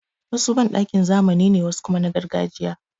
Wasu banɗakin zamani ne, wasu kuma na gargajiya.